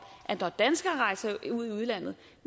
at når danskere rejser til udlandet